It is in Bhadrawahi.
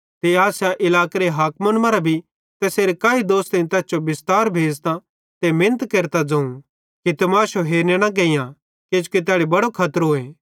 ते आसिया इलाकेरे हाकिमन मरां भी तैसेरे काई दोस्तेईं तैस जो बिस्तार भेज़तां ते मिनत केरतां ज़ोवं कि तमाशो हेरने न गेइयां किजोकि तैड़ी बड़ो खतरोए